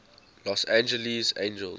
los angeles angels